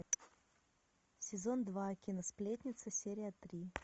сезон два кино сплетница серия три